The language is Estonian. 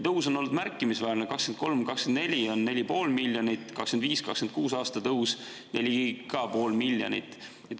Tõus on olnud märkimisväärne: 2023–2024 oli 4,5 miljonit, 2025.–2026. aastal ka pool miljonit.